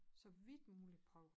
Så vidt muligt prøve